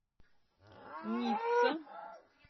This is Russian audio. ницца